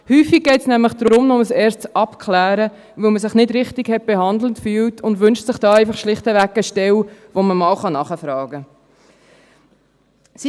Häufig geht es nämlich um ein erstes Abklären, weil man sich nicht richtig behandelt gefühlt hat, und man wünscht sich schlicht und einfach eine Stelle, bei der man mal nachfragen kann.